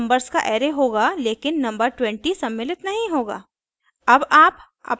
output अभी भी numbers का array होगा लेकिन नंबर 20 सम्मिलित नहीं होगा